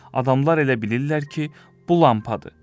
adamlar elə bilirlər ki, bu lampadır.